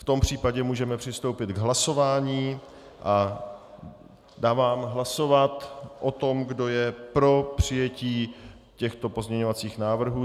V tom případě můžeme přistoupit k hlasování a dávám hlasovat o tom, kdo je pro přijetí těchto pozměňovacích návrhů.